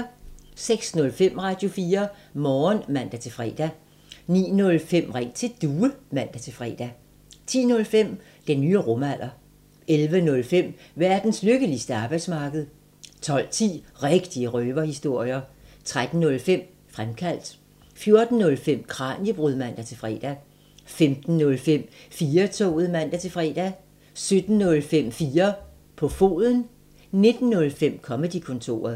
06:05: Radio4 Morgen (man-fre) 09:05: Ring til Due (man-fre) 10:05: Den nye rumalder 11:05: Verdens lykkeligste arbejdsmarked 12:10: Rigtige røverhistorier 13:05: Fremkaldt 14:05: Kraniebrud (man-fre) 15:05: 4-toget (man-fre) 17:05: 4 på foden 19:05: Comedy-kontoret